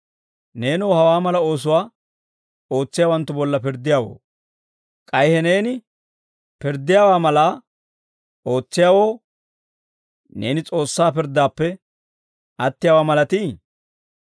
Neenoo, hawaa mala oosuwaa ootsiyaawanttu bolla pirddiyaawoo, k'ay he neeni pirddiyaawaa malaa ootsiyaawoo, neeni S'oossaa pirddaappe attiyaawaa malatii?